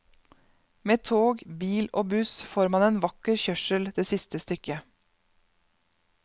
Med tog, bil og buss får man en vakker kjørsel det siste stykket.